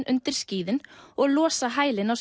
undir skíðin og losa hælinn á